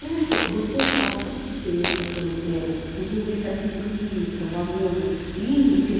знаю что вы поху открытия метрополитена нужны были совсем другие метро вагоны линии